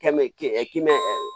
K'i mɛ k'i mɛn